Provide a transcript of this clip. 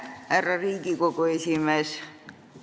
Härra Riigikogu esimees!